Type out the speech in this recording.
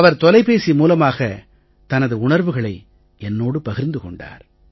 அவர் தொலைபேசி மூலமாகத் தனது உணர்வுகளை என்னோடு பகிர்ந்து கொண்டார்